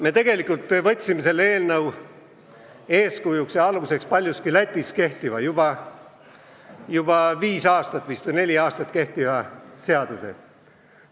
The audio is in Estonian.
Me tegelikult võtsime selle eelnõu eeskujuks Lätis juba neli või viis aastat kehtinud seaduse.